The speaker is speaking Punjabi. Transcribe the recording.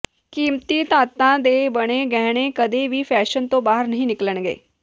ਕੀਮਤੀ ਧਾਤਾਂ ਦੇ ਬਣੇ ਗਹਿਣੇ ਕਦੇ ਵੀ ਫੈਸ਼ਨ ਤੋਂ ਬਾਹਰ ਨਹੀਂ ਨਿਕਲਣਗੇ